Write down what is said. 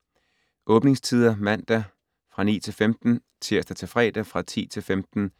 Åbningstider: Mandag: 9-15 Tirsdag - fredag: 10-15